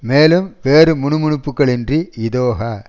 மேலும் வேறு முனுமுனுப்புக்கள் இன்றி இதொக